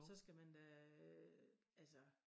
Så skal man da øh altså